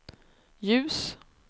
ljus